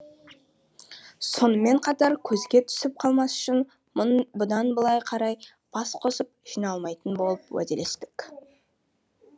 сонымен қатар көзге түсіп қалмас үшін бұдан былай қарай бас қосып жиналмайтын болып уәделестік